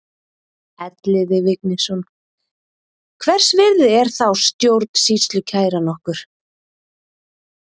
Elliði Vignisson: Hvers virði er þá stjórnsýslukæran okkur?